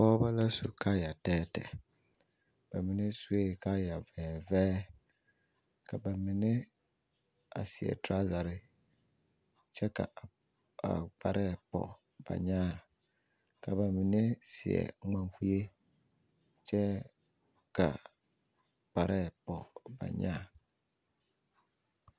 Pɔgeba la su kaaya tɛɛtɛɛ ba mine sue kaaya vɛɛvɛɛ ka ba mine a seɛ toraza kyɛ ka a kpare pɔge ba nyaa ka ba mine seɛ ŋmankue kyɛ ka kpare pɔge ba nyaa.